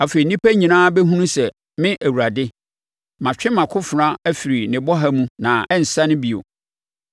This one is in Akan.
Afei nnipa nyinaa bɛhunu sɛ me Awurade, matwe mʼakofena afiri ne bɔha mu na ɛrensane bio.’